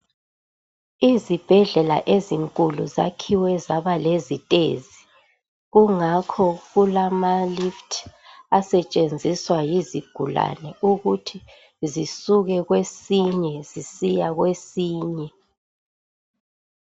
Izibhedlela ezinkulu zakhiwe zaba lezitezi kungakho kulama "lift" asetshenziswa yizigulani ukuthi zisuke kwesinye zisiya kwesinye.